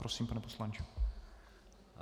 Prosím, pane poslanče.